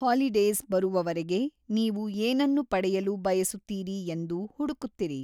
Holidays ಬರುವವರೆಗೆ ನೀವು ಏನನ್ನು ಪಡೆಯಲು ಬಯಸುತ್ತೀರಿ ಎಂದು ಹುಡುಕುತ್ತಿರಿ.